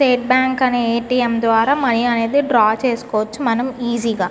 State bank అనే ATM. ద్వారా money అనేది డ్రా చేసుకోవచ్చు మనం ఈసీ గ.